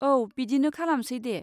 औ, बिदिनो खालामसै दे।